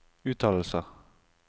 uttalelser